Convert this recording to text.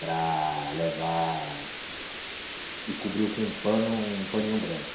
Para levar... E cobriu com um pano, um paninho branco.